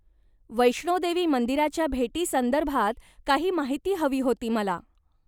वैष्णोदेवी मंदिराच्या भेटीसंदर्भात काही माहिती हवी होती मला.